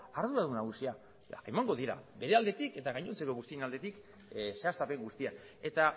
arduradun nagusia eta emango dira bere aldetik eta gainontzeko guztion aldetik zehaztapen guztiak eta